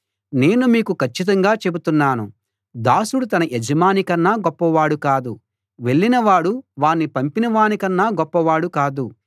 నేను మీకు కచ్చితంగా చెబుతున్నాను దాసుడు తన యజమానికన్నా గొప్పవాడు కాదు వెళ్ళినవాడు వాణ్ణి పంపినవానికన్నా గొప్పవాడు కాదు